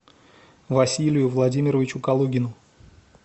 василию владимировичу калугину